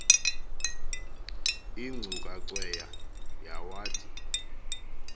ingcuka cweya yawathi